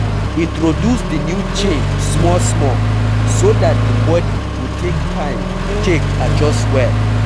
Introduce di new change small small so dat di body go take time take adjust well